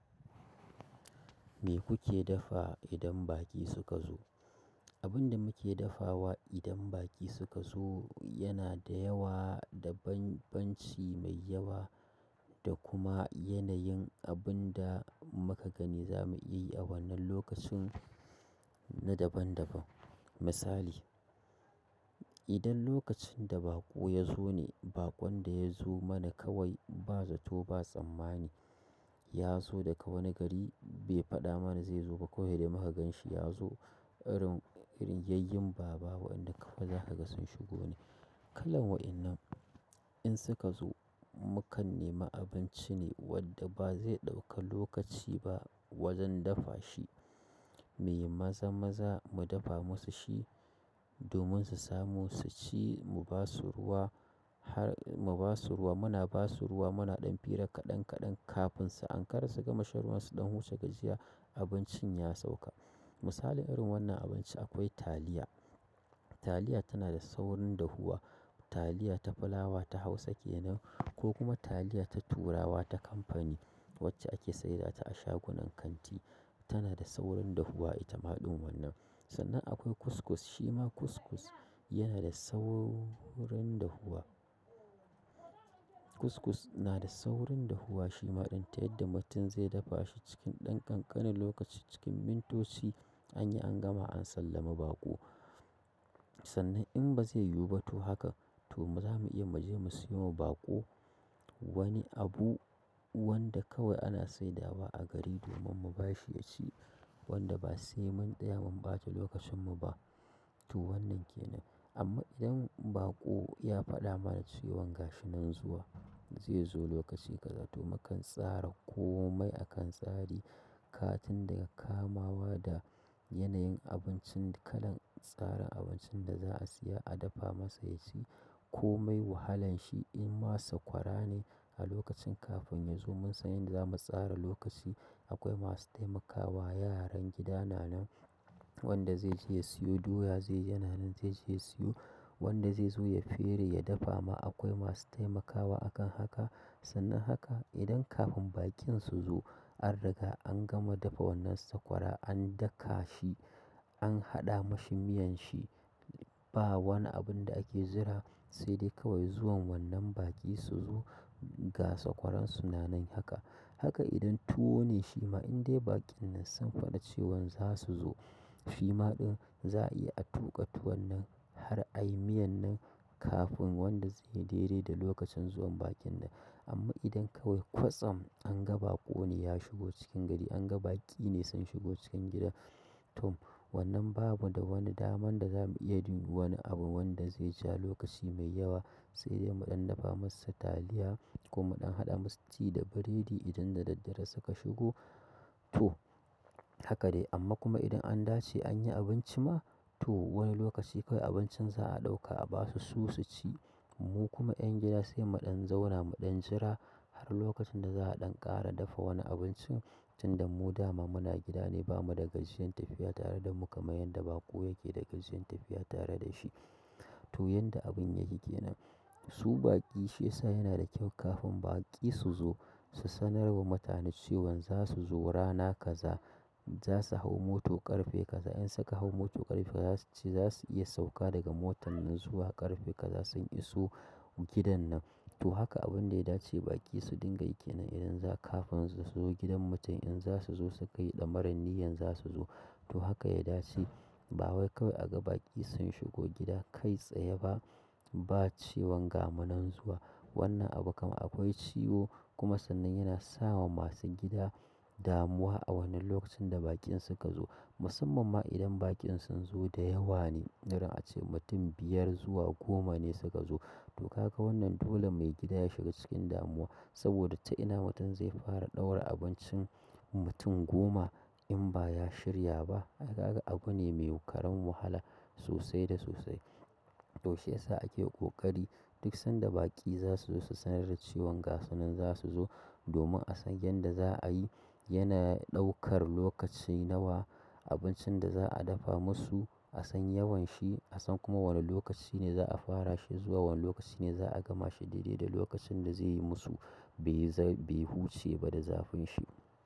Me kuke dafa idan baƙi suka zo? Abin da muke dafawa idan baƙi suka zo yana da yawa, da banbanci mai yawa da kuma yanayin abin da muka gani za mu yi a wannan lokacin na daban-daban. Misali, idan lokacin da baƙo ya zo ne, baƙon da ya zo mana kawai ba zato ba tsammani, ya zo daga wani gari bai faɗa mana zai zo ba ko dai muka gan shi ya zo, irin yayyin baba wanda ka faɗa haka sun shigo ne. Kalan waɗannan in suka zo, mu kan nema abinci ne wadda ba zai ɗauka lokaci ba wajen dafa shi. Mu yi maza-maza mu dafa musu shi domin su samu su ci, mu ba su ruwa har mu ba su ruwa, muna ba su ruwa muna ɗan fira kaɗan kaɗan kafin su ankara su gama shan ruwan su ɗan huce ka jiya abincin ya sauka. Misali irin wannan abinci akwai taliya. Taliya tana da saurin dahuwa. Taliya ta fulawa ta Hausa ke nan ko kuma taliya ta turawa ta kamfani wacce ake sayar da ta a shagunan kanti tana da saurin dahuwa ita ma ɗin wannan. Sannan akwai kuskus, shima kuskus yana da saurin dahuwa. Kuskus na da saurin dahuwa shima ɗin ta yadda mutum zai dafa shi cikin ɗan ƙanƙanin lokaci cikin mintoci anyi an gama an sallami baƙo. Sannan in ba zai yiwu ba, to haka, to za mu iya mu je mu siyo ma baƙo, wani abu wanda kawai ana saidawa a gari domin mu ba shi ya ci wanda ba, sai mun tsaya mun ɓata lokacin mu ba. To wannan ke nan. Amma idan baƙo ya faɗa mana su wanga shi nan zuwa, zai zo lokaci kaza, to mu kan tsara komai akan tsari, kaga tun daga kamawa da yanayin abincin kalan tsarin abincin da za a siya a dafa masa ya ci komai wahalan shi in ma sakwara ne a lokacin kafin ya zo mun san yadda zamu tsara lokaci. Akwai masu taimakawa, yaran gida na nan wanda zai je ya siyo doya zai yana nan zai je ya siyo, wanda zai zo ya fere ya dafa ma akwai masu taimakawa a kan haka. Sannan haka, idan kafin baƙin su zo an riga an gama dafa wannan sakwara, an daka shi, an haɗa mashi miyan shi, ba wani abin da ake jira sai dai kawai zuwan baƙin su zo ga sakwaran su na nan haka. Haka idan tuwo ne shima in dai baƙin nan sun faɗa cewan za su zo, shima ɗin za a iya a tuƙa tuwon nan har a yi miyan nan kafin wanda zai daidaita lokacin zuwan baƙin nan. Amma idan kawai kwatsam an ga baƙo ne ya shigo cikin gari, an ga baƙi ne sun shigo cikin gida, to, wannan bamu da wani daman da za mu iya duba wani abu wanda zai ci a lokaci mai yawa, sai dai mu ɗan dafa masa taliya ko mun ɗan haɗa masa tea da buredi idan da daddare suka zo to haka dai amma kuma idan an dace an yi abinci ma, to wani lokaci kawai abincin za a ɗauka a basu su su ci. Mu kuma ƴan gida sai mu ɗan zauna mu ɗan jira har lokacin da za a ɗan ƙara dafa wani abinci tun da mu dama muna gida ne bamu da gajiyan tafiya tare da mu kamar yadda baƙo yake da gajiyan tafiya tare da shi. To yanda abun yake ke nan. Su baƙi shi yasa yana da kyau kafin baƙi su zo su sanar wa mutane cewan za su zo rana kaza, za su hau mota ƙarfe kaza. In suka hau mota ƙarfe kaza, za su iya sauka daga motan nan zuwa ƙarfe kaza sun iso gidan nan. To haka abin da ya dace baƙi su dinga yi kenan idan zo, kafin su zo gidan mutum in za su zo su kai ɗamarar niyan za su zo. To haka ya dace. Ba wai kawai a ga baƙi sun shigo gida kai tsaye ba ba cewan ga mu nan zuwa. Wannan abu kama akwai ciwo kuma sannan yana sawa masu gida damuwa a wannan lokacin da baƙin suka zo. Musamman ma idan baƙin sun zo da yawa ne, irin a ce mutum biyar zuwa goma ne suka zo. To, kaga wannan dole mai gida ya shiga cikin damuwa saboda ta ina mutum zai fara ɗaura abincin mutum goma in ba ya shirya ba? Haka abu ne mai karan wahala sosai da sosai. To shi yasa ake ƙoƙari duk sanda baƙi za su zo su sanar da cewan ga su nan za su zo domin a san yadda za a yi. Yana ɗaukar lokaci nawa abincin da za a dafa musu, a san yawan shi, a san kuma wane lokaci ne za a fara shi zuwa wane lokaci ne za a gama shi daidai da lokacin da zai yi musu bai za-bai huce ba da zafin shi.